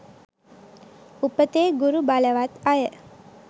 උපතේ ගුරු බලවත් අය